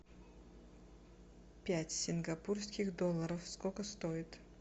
пять сингапурских долларов сколько стоит